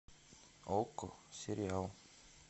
окко сериал